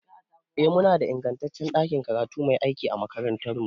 Eh, muna da ingantaccen ɗakin karatu mai aiki a makarantarmu.